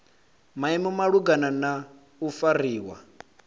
maimo malugana na u fariwa